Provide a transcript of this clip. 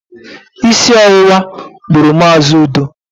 Isi ọwụwa gburu Mazi Udo